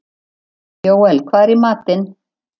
Jóel, hvað er í matinn?